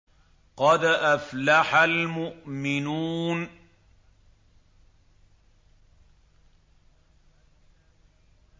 قَدْ أَفْلَحَ الْمُؤْمِنُونَ